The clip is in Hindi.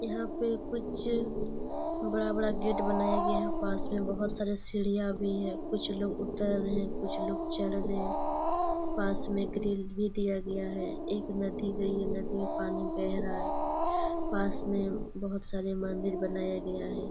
यहाँ पे कुछ बड़ा-बड़ा गेट बनाया गया है पास में बहुत सारी सीडियाँ भी है कुछ लोग उतर रहे है कुछ लोग चढ़ रहे है पास में ग्रिल भी दिया गया है एक नदी गयी है नदी में पानी बह रहा है पास में बहुत सारा मंदिर बनाया गया है ।